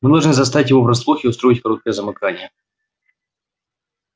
мы должны застать его врасплох и устроить короткое замыкание